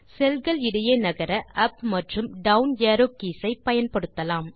செல் கள் இடையே நகர உப் மற்றும் டவுன் அரோவ் கீஸ் ஐ பயன்படுத்தலாம்